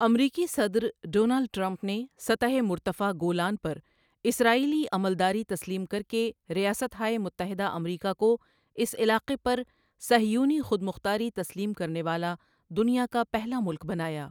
امریکی صدر Donald Trump نے سطح مرتفع گولان پر اسرائیلی عملداری تسلیم کر کے ریاستہائے متحدہ امریکا کو اس علاقے پر صہیونی خود مختاری تسلیم کرنے والا دنیا کا پہلا ملک بنایا۔